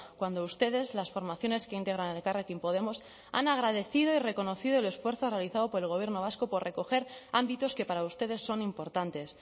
cuando ustedes las formaciones que integran elkarrekin podemos han agradecido y reconocido el esfuerzo realizado por el gobierno vasco por recoger ámbitos que para ustedes son importantes